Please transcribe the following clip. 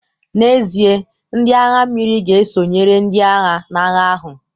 N'ezie, ndị agha mmiri ga-esonyere ndị agha n'agha ahụ